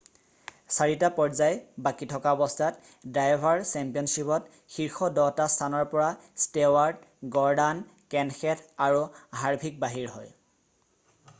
4টা পৰ্যায় বাকী থকা অৱস্থাত ড্ৰাইভাৰ চেম্পিয়নশ্বিপত শীৰ্ষ 10টা স্থানৰ পৰা ষ্টেৱাৰ্ট গৰ্ডান কেনশেঠ আৰু হাৰভিক বাহিৰ হয়